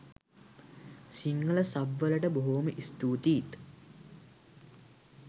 Sinhala sub වලට බොහොම ස්තුතියිත්